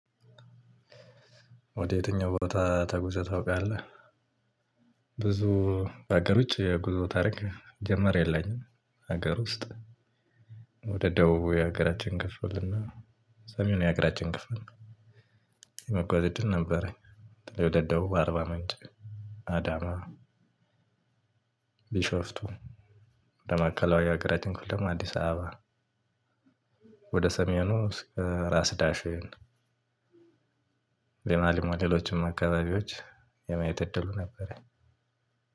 ወደ የትኛው ቦታ ተጉዘህ ታውቃለህ? ብዙ በአገር ውጪ የጉዞ ታሪክ ሲጀመር የለኝም። ሀገር ውስጥ። ወደ ደቡቡ የሀገራችን ክፍል እና ሰሜኑ የሀገራችን ክፍል። የመጓዝ እድል ነበረኝ። ወደ ደቡብ አርባ ምንጭ አዳማ። ቢሾፍቱ ወደ ማዕከላዊ የሃገራቺን ክፍል ደግሞ አዲስ አበባ። ወደ ሰሜኑ ራስ ዳሽን። ሊማሊሞ ሌሎችም አካባቢዎች የማየት እድሉ ነበረኝ።